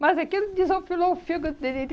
Mas aquilo desofilou o fígado dele. Ele